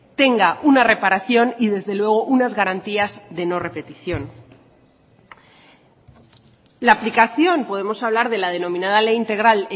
tenga una reparación y desde luego unas garantías de no repetición la aplicación podemos hablar de la denominada ley integral